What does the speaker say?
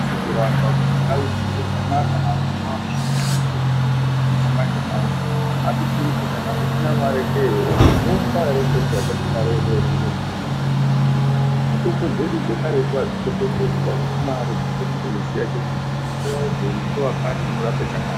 Atisi kuramba kuti ndau dzeshe dzanaka vantu ngavachishandise mitombo dzechimanje manje asi tiri kuti kana usina maree kee wofa here nekuti watame mare yekutenge mutombo dzechimanje, mitombo dzedu dzekaretu adzitengeswi adzidzi mare asi dzinode kuziya ziya chete kuti uyu mhoryo uyu ngewakati unorapwe chakati.